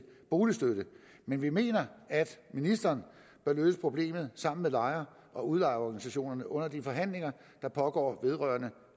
boligstøtte men vi mener at ministeren bør løse problemet sammen med lejer og udlejerorganisationer under de forhandlinger der pågår vedrørende